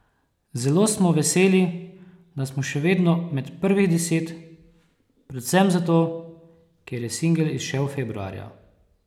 Zelo smo veseli, da smo še vedno med prvih deset, predvsem zato, ker je singel izšel februarja!